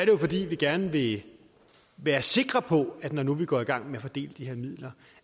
jo fordi vi gerne vil være sikre på at når nu vi går i gang med at fordele de her midler